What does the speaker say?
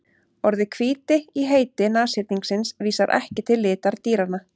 Orðið hvíti í heiti nashyrningsins vísar ekki til litar dýranna.